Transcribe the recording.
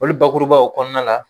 Olu bakurubaw kɔnɔna la